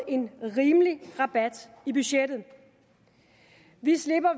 en rimelig rabat i budgettet vi slipper